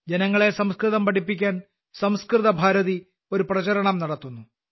ജനങ്ങളെ സംസ്കൃതം പഠിപ്പിക്കാൻ സംസ്കൃത ഭാരതി ഒരു പ്രചാരണം നടത്തുന്നു